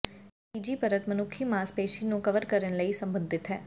ਇਹ ਤੀਜੀ ਪਰਤ ਮਨੁੱਖੀ ਮਾਸਪੇਸ਼ੀ ਨੂੰ ਕਵਰ ਕਰਨ ਲਈ ਸਬੰਧਿਤ ਹੈ